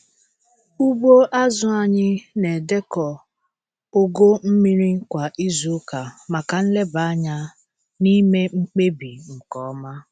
Ugbo azụ anyị na-edekọ ogo mmiri kwa izuụka maka nleba anya na ime mkpebi nke ọma.